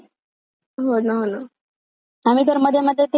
आम्ही तर मध्ये मध्ये ते आयपीएल पण खेळायचो ड्रीम इलेव्हन!